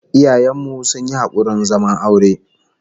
Iyayen mu sun yi hakurin zaman aure